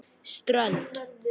Strönd